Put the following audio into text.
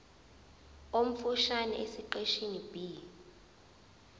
omfushane esiqeshini b